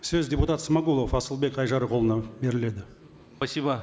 сөз депутат смағұлов асылбек айжарықұлына беріледі спасибо